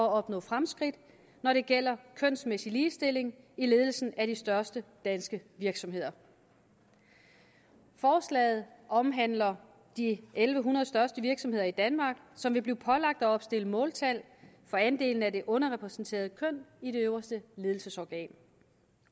at opnå fremskridt når det gælder kønsmæssig ligestilling i ledelsen af de største danske virksomheder forslaget omhandler de en tusind en hundrede største virksomheder i danmark som vil blive pålagt at opstille måltal for andelen af det underrepræsenterede køn i det øverste ledelsesorgan